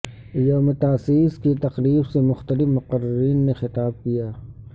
یوم تاسیس کی تقریب سے مختلف مقررین نےخطاب کیا